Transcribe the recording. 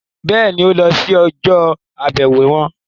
Bẹ́ẹ̀ni, ó lọ sí ọjọ́-àbẹ̀wò wọn?